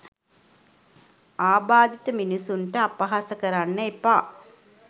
ආබාධිත මිනිස්සුන්ට අපහාස කරන්න එපා